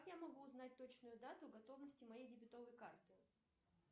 как я могу узнать точную дату готовности моей дебетовой карты